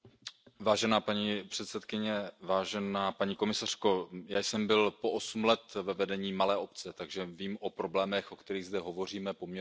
Paní předsedající, paní komisařko, já jsem byl osm let ve vedení malé obce, takže vím o problémech, o kterých zde hovoříme, poměrně hodně.